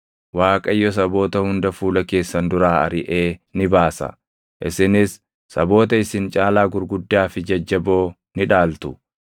Waaqayyo saboota hunda fuula keessan duraa ariʼee ni baasa; isinis saboota isin caalaa gurguddaa fi jajjaboo ni dhaaltu.